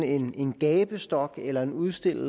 en gabestok eller en udstilling